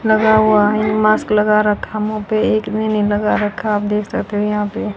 लगा हुआ है मास्क लगा रखा मुंह पे एक ने नहीं लगा रखा आप देख सकते हैं यहां पे --